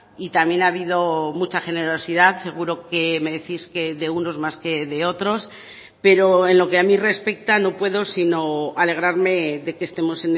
y también ha habido mucha generosidad seguro que me decís que de unos más que de otros pero en lo que a mí respecta no puedo sino alegrarme de que estemos